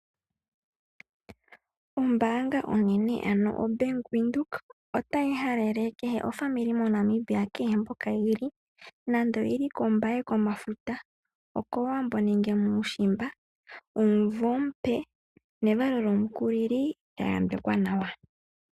Ombaanga onene ano o Bank Windhoek otayi halele kehe aakwanezimo moNamibia kehe mpoka yeli nando oyeli kombaye komafuta, okowambo nenge muushimba omumvo omupe nevalo lyomukulilo lya yambekwa nawa.